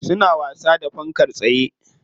Suna wasa da fankar tsaye.